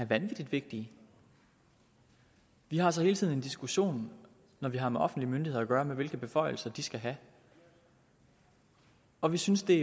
vanvittig vigtige vi har så hele tiden en diskussion når vi har med offentlige myndigheder at gøre om hvilke beføjelser de skal have og vi synes det